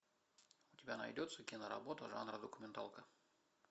у тебя найдется киноработа жанра документалка